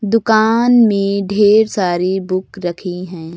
दुकान में ढेर सारी बुक रखी है।